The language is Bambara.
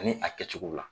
Ani a kɛcogow la